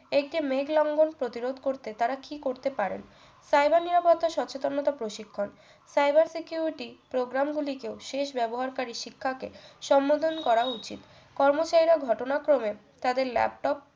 একটা মেঘ লঙ্ঘণ প্রতিরোধ করতে তারা কি করতে পারেন cyber নিরাপত্তা সচেতনতা প্রশিক্ষণ cyber security programme গুলি কেও শেষ ব্যবহারকারী শিক্ষাকে সম্মোধন করা উচিত কর্মচারীরা ঘটনাক্রমে তাদের laptop